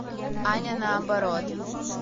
аня наоборот